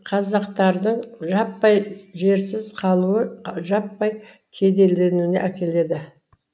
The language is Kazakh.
қазақтардың жаппай жерсіз қалуы жаппай кедейленуіне әкеледі